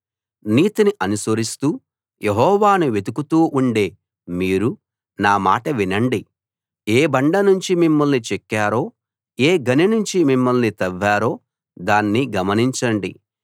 నీతిని అనుసరిస్తూ యెహోవాను వెతుకుతూ ఉండే మీరు నా మాట వినండి ఏ బండ నుంచి మిమ్మల్ని చెక్కారో ఏ గని నుంచి మిమ్మల్ని తవ్వారో దాన్ని గమనించండి